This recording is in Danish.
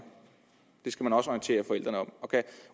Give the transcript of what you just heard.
det skal man også orientere forældrene om og kan